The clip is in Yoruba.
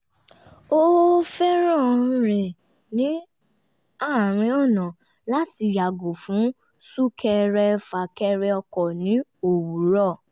ó fẹ́ràn rìn ní àárín ọ̀nà láti yàgò fún sún-kẹrẹ-fà-kẹrẹ ọkọ̀ ní òwúrọ̀